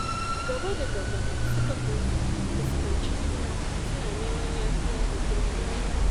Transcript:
Gaba da gaba suka fuskanci juna, suna neman yafiya da girmamawa.